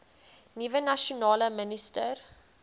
nuwe nasionale minister